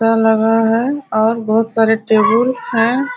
दा पर लगा है और बहुत सारे टेबुल है।